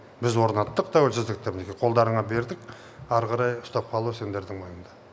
біз орнаттық тәуелсіздікті мінекей қолдарыңа бердік ары қарай ұстап қалу сендердің мойныңда